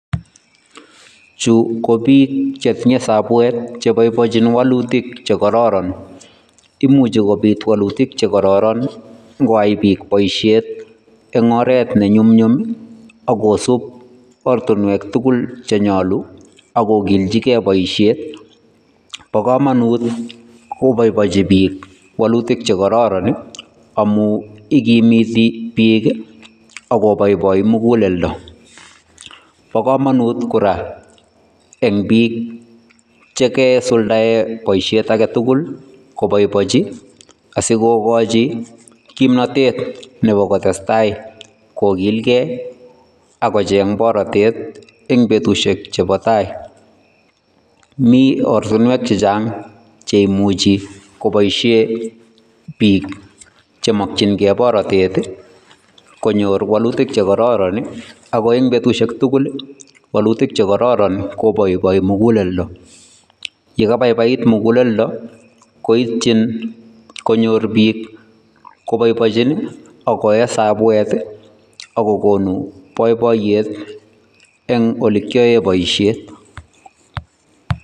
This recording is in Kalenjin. Chuu ko biik chetinye sabuek cheboiboinchin wolutik chekororon, imuche kobit wolutik chekororon ing'oyai biik boishet eng' oreet ne nyumnyum ak kosib oratinwek chenyolu ak kokilchikee boishet, bokomonut koboiboinchi biik wolutik chekororon amun ikimiti biik ak koboboi mukuleldo, bo komonut kora eng' biik chekasuldaen boishet aketukul asikokochi kimnotet nebo kotesta ko kilkee ak kocheng borotet en betushek chebo taai, mii ortinwek chechang cheimuchi koboishe biik chemokying'e borotet konyor wolutik chekororon ak ko en betushek tukul wolutik chekororon koboiboi mukuleldo, yekabaibait mukuleldo koityin konyor biik koboiboenjin ak koyee sabuet ak kokon boiboiyet eng' olekioen boishet.